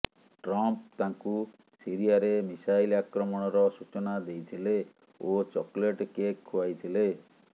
Trump ତାଙ୍କୁ ସିରିଆରେ missile ଆକ୍ରମଣର ସୂଚନା ଦେଇଥିଲେ ଓ ଚକୋଲେଟ୍ କେକ୍ ଖୁଆଇଥିଲେ